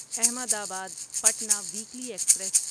احمد آباد Patna weekly express